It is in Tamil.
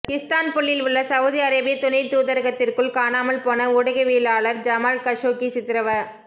இஸ்தான்புல்லில் உள்ள சவுதி அரேபிய துணைத் தூதரகத்திற்குள் காணாமல்போன ஊடகவியலாளர் ஜமால் கஷோகி சித்திரவ